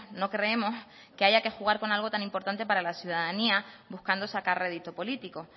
no creemos que haya que jugar con algo tan importante para la ciudadanía buscando sacar rédito político